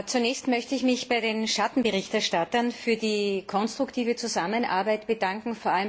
Zunächst möchte ich mich bei den Schattenberichterstattern für die konstruktive Zusammenarbeit bedanken.